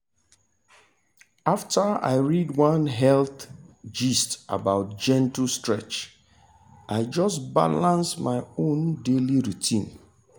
after i read one health gist about gentle stretch i just balance my own daily routine.